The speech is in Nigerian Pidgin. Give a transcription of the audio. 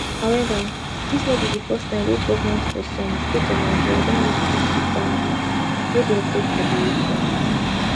however dis no be di first time wey goment for some states of nigeria don make peace wit bandits wey dey operate for di region